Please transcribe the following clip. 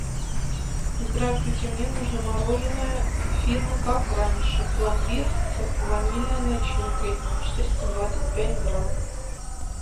здравствуйте мне нужно мороженое фирмы как раньше пломбир с ванильной начинкой четыреста двадцать пять грамм